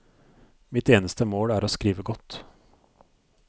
Mitt eneste mål er å skrive godt.